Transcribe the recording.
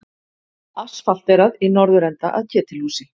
Asfalterað í norðurenda að Ketilhúsi.